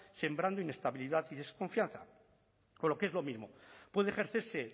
sembrando inestabilidad y desconfianza o lo que es lo mismo puede ejercerse